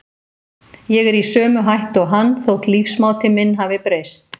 Ég er í sömu hættu og hann, þótt lífsmáti minn hafi breyst.